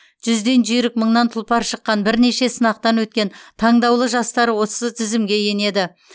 жүзден жүйрік мыңнан тұлпар шыққан бірнеше сынақтан өткен таңдаулы жастар осы тізімге енеді